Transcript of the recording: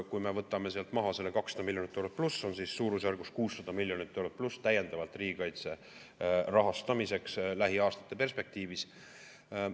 Kui me võtame sealt maha selle 200+ miljonit eurot, on suurusjärgus 600+ miljonit eurot täiendavalt riigikaitse rahastamiseks lähiaastate perspektiivis.